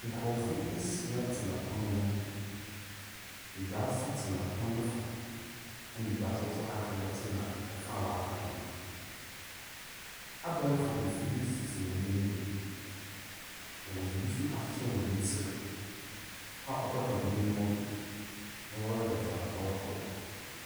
Nkurofoɔ asia tena pono ho. Abaasa tena pon no fa. Ɛna abaasa a aka no so tena ɛfa a ak no. Abɛɛfo mfidie sisi wɔn anim. Na wɔde bi nso ahyehyɛ wɔn tiri a ɔkata wɔn aniwa do na wɔrehwɛ dea ɛrekɔdo.